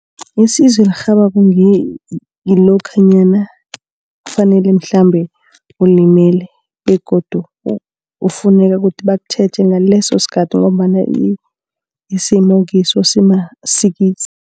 Isizo elirhabako ngilokha nyana kufanele mhlambe, ulimele begodu kufuneka kuthi bakutjheje ngaleso sikhathi ngombana isimo okiso simasikizi.